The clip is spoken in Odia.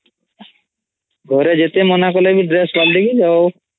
ଘରେ ଯେତେ ମନା କଲେ ବି ଡ୍ରେସ୍ ପାଲଟିକୀ ଯାଓ